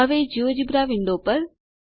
હવે GeoGebra window પર